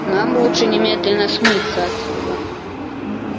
нам лучше немедленно смыться отсюда